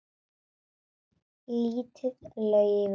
Lítið lauf út.